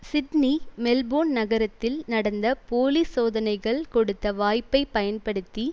Sydney Melbourne நகரத்தில் நடந்த police சோதனைகள் கொடுத்த வாய்ப்பை பயன்படுத்தி